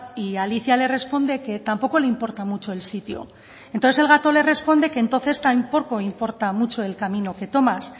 y alicia le responde que tampoco le importa mucho el sitio entonces el gato le responde que entonces tampoco importa mucho el camino que tomas